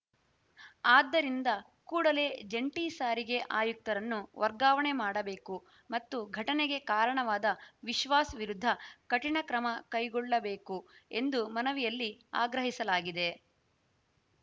ಆದ್ದರಿಂದ ಕೂಡಲೇ ಜಂಟಿ ಸಾರಿಗೆ ಆಯುಕ್ತರನ್ನು ವರ್ಗಾವಣೆ ಮಾಡಬೇಕು ಮತ್ತು ಘಟನೆಗೆ ಕಾರಣವಾದ ವಿಶ್ವಾಸ್‌ ವಿರುದ್ಧ ಕಠಿಣ ಕ್ರಮ ಕೈಗೊಳ್ಳಬೇಕು ಎಂದು ಮನವಿಯಲ್ಲಿ ಆಗ್ರಹಿಸಲಾಗಿದೆ